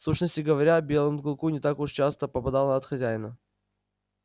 в сущности говоря белому клыку не так уж часто попадало от хозяина